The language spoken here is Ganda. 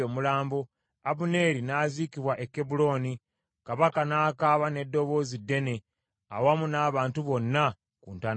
Abuneeri n’aziikibwa e Kebbulooni, kabaka n’akaaba n’eddoboozi ddene awamu n’abantu bonna ku ntaana ya Abuneeri.